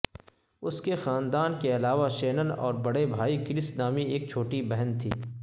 اس کے خاندان کے علاوہ شینن اور بڑے بھائی کرس نامی ایک چھوٹی بہن تھی